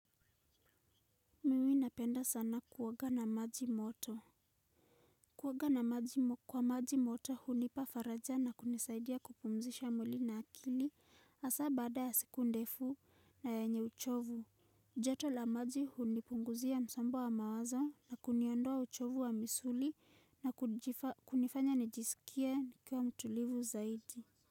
Napenda sana kuoga na maji moto. Kuoga na maji moto hunipa faraja na kunisaidia kupumzisha mwili na akili hasa baada ya siku ndefu na yenye uchovu. Joto la maji hunipunguzia msombo wa mawazo na kuniondoa uchovu wa misuli na kunifanya nijisikie nikiwa mtulivu zaidi.